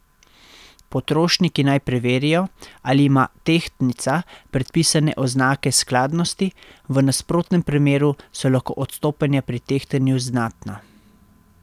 Potrošniki naj preverijo, ali ima tehtnica predpisane oznake skladnosti, v nasprotnem primeru so lahko odstopanja pri tehtanju znatna.